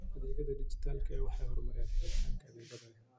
Adeegyada dijitaalka ah waxay horumariyaan helitaanka adeegyada.